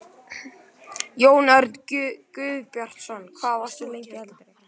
Jón Örn Guðbjartsson: Hvað varstu lengi heldurðu?